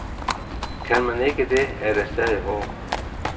Kan man ikke det, er der stadig håb.